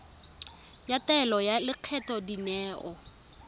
ya taelo ya lekgetho dineo